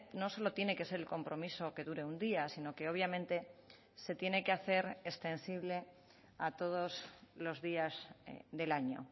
no solo tiene que ser el compromiso que dure un día sino que obviamente se tiene que hacer extensible a todos los días del año